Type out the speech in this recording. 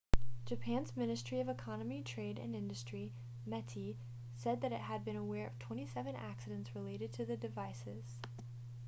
japan's ministry of economy trade and industry meti said that it had been aware of 27 accidents related to the devices